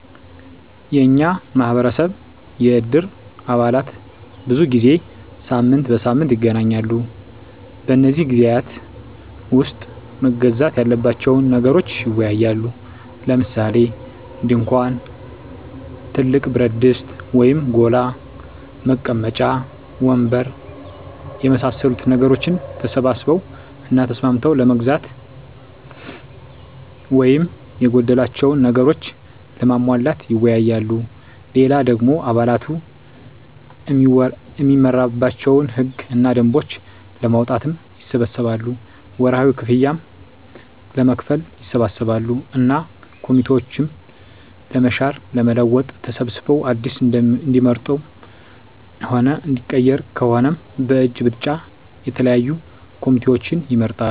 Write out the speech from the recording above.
የኛ ማህበረሰብ የእድር አባላት ብዙ ጊዜ ሳምንት በሳምንት ይገናኛሉ። በነዚህ ግዜያት ዉስጥ መገዛት ያለባቸዉን ነገሮች ይወያያሉ። ለምሳሌ፦ ድንኳን፣ ትልቅ ብረትድስት (ጎላ) ፣ መቀመጫ ወንበር የመሳሰሉትን ነገሮች ተሰብስበዉ እና ተስማምተዉ ለመግዛት ወይም የጎደላቸዉን ነገሮች ለማሟላት ይወያያሉ። ሌላ ደሞ አባላቱ እሚመራባቸዉን ህግ እና ደንቦች ለማዉጣትም ይሰበሰባሉ፣ ወርሀዊ ክፍያም ለመክፈል ይሰበሰባሉ እና ኮሚቴዎችን ለመሻር ለመለወጥ ተሰብስበዉ አዲስ እሚመረጥም ሆነ እሚቀየር ከሆነም በእጅ ብልጫ የተለያዩ ኮሚቴዎችን ይመርጣሉ።